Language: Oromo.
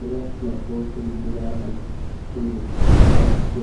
irra lakkoofsi bilbilaa kan kilinikichaa jira.